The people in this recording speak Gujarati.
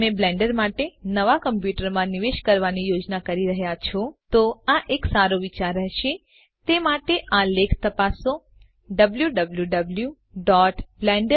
જો તમે બ્લેન્ડર માટે નવા કમ્પ્યુટર માં નિવેશ કરવા ની યોજના કરી રહ્યા છો તો તો આ એક સારો વિચાર રહેશે તે માટે આ લેખ તપાસો ડબ્લ્યુડબ્લ્યૂવી